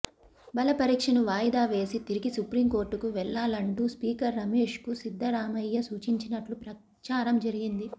బలపరీక్షను వాయిదా వేసి తిరిగి సుప్రీం కోర్టుకు వెళ్ళాలంటూ స్పీకర్ రమేష్కు సిద్దరామయ్య సూచించినట్టు ప్రచారం జరిగింది